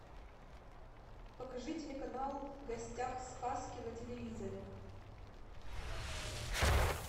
покажи телеканал в гостях сказки на телевизоре